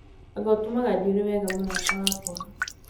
anga ũtumaga njuĩrĩ wega mũrata wakwa